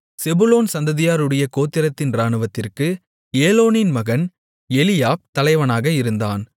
செபுலோன் சந்ததியாருடைய கோத்திரத்தின் இராணுவத்திற்கு ஏலோனின் மகன் எலியாப் தலைவனாக இருந்தான்